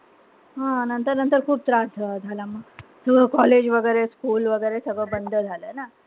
हां नंतर-नंतर खूप त्रास झाला. College वगैरे, school वगैरे सगळं बंद झालं ना.